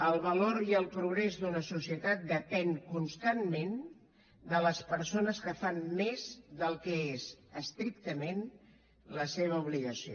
el valor i el progrés d’una societat depenen constantment de les persones que fan més del que és estrictament la seva obligació